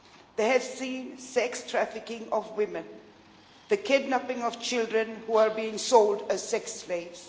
they have seen sex trafficking of women and the kidnapping of children who are being sold as sex slaves.